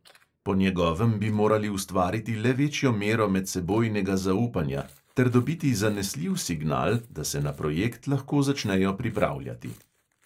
Po njegovem bi morali ustvariti le večjo mero medsebojnega zaupanja ter dobiti zanesljiv signal, da se na projekt lahko začnejo pripravljati.